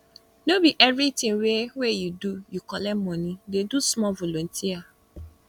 no be everytin wey wey you do you collect moni dey do small volunteer